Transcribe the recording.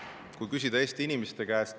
Kui küsida Eesti inimeste käest …